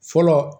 Fɔlɔ